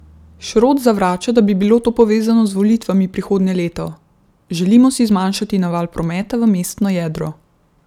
Šrot zavrača, da bi bilo to povezano z volitvami prihodnje leto: "Želimo si zmanjšati naval prometa v mestno jedro.